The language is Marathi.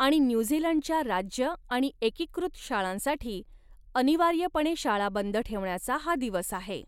आणि न्यूझीलंडच्या राज्य आणि एकीकृत शाळांसाठी अनिवार्यपणे शाळा बंद ठेवण्याचा हा दिवस आहे.